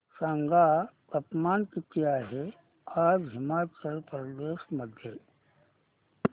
सांगा तापमान किती आहे आज हिमाचल प्रदेश मध्ये